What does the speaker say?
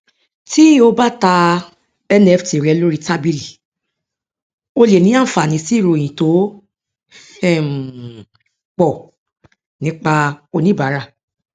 tí o bá ta nft rẹ lórí tábìlì o lè ní àǹfààní sí ìròyìn tó um pọ nípa oníbàárà